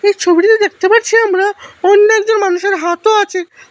এই ছবিটিতে দেখতে পাচ্ছি আমরা অন্য একজন মানুষের হাতও আচে।